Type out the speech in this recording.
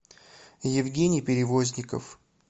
евгений перевозников